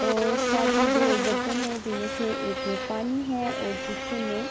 یہ ایک بھوت ہی خوبصورت منظر ہے۔ یہاں کا موسم بھی نہایت خوشگوار ہے۔